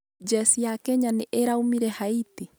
jeci ya Kenya nĩ ĩraumire Haiti?